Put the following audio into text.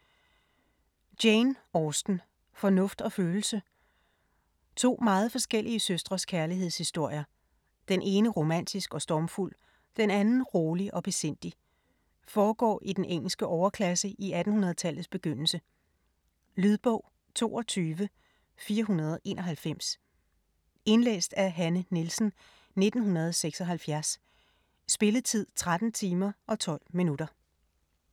Austen, Jane: Fornuft og følelse To meget forskellige søstres kærlighedshistorier. Den ene romantisk og stormfuld, den anden rolig og besindig. Foregår i den engelske overklasse i 1800-tallets begyndelse. Lydbog 22491 Indlæst af Hanne Nielsen, 1976. Spilletid: 13 timer, 12 minutter.